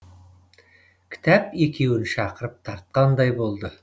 кітап екеуін шақырып тартқандай болды